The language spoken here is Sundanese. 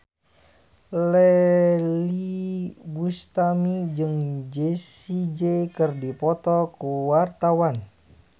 Iyeth Bustami jeung Jessie J keur dipoto ku wartawan